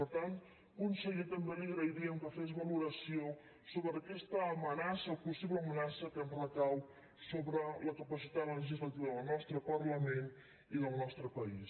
per tant conseller també li agrairíem que fes valoració sobre aquesta amenaça o possible amenaça que ens recau sobre la capacitat legislativa del nostre parlament i del nostre país